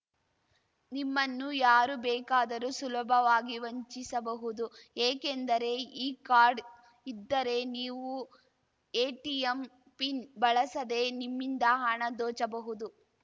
ನಿಮ್ಮನ್ನು ಯಾರು ಬೇಕಾದರೂ ಸುಲಭವಾಗಿ ವಂಚಿಸಬಹುದು ಏಕೆಂದರೆ ಈ ಕಾರ್ಡ್‌ ಇದ್ದರೆ ನೀವು ಎಟಿಎಂ ಪಿನ್‌ ಬಳಸದೇ ನಿಮ್ಮಿಂದ ಹಣ ದೋಚಬಹುದು